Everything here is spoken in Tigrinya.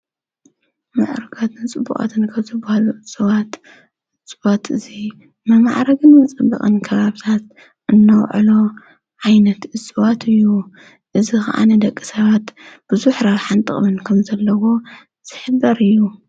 ሙዕርጋትን ጽቡቃትን ከብ ዝበሃሉ ዕፅዋት፣ እጽዋት እዙይ መማዕረግን መፀበቅን ከባቢታት እናውዕሎ ዓይነት እጽዋት እዩ። እዝ ኸዓ ንደቂ ሰባት ብዙሕ ረብሓን ጥቅምን ከም ዘለዎ ዝሕበር እዩ።